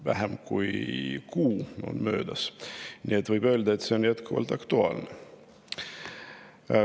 Vähem kui kuu on möödas, nii et võib öelda, et on jätkuvalt aktuaalne.